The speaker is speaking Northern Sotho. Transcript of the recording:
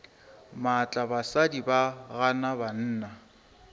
maatla basadi ba gana banna